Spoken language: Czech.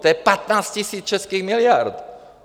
To je 15 000 českých miliard.